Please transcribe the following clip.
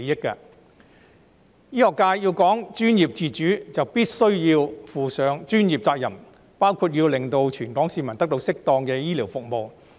醫學界既然講求專業自主，就必須負上專業責任，包括讓全港市民得到適當的醫療服務。